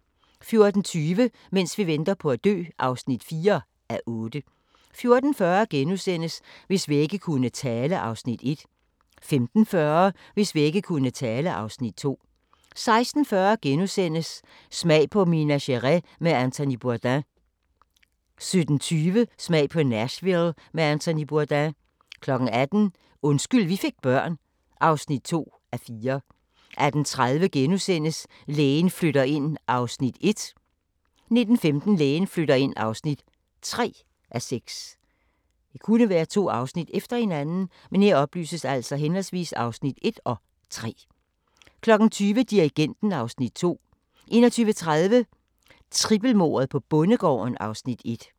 14:20: Mens vi venter på at dø (4:8) 14:40: Hvis vægge kunne tale (Afs. 1)* 15:40: Hvis vægge kunne tale (Afs. 2) 16:40: Smag på Minas Gerais med Anthony Bourdain * 17:20: Smag på Nashville med Anthony Bourdain 18:00: Undskyld vi fik børn (2:4) 18:30: Lægen flytter ind (1:6)* 19:15: Lægen flytter ind (3:6) 20:00: Dirigenten (Afs. 2) 21:30: Trippelmordet på bondegården (Afs. 1)